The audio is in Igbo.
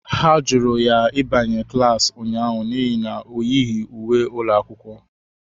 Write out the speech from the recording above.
Ha jụrụ ya ịbanye na klas ụnyaahụ n'ihi na ọ yighi uwe ụlọ akwụkwọ.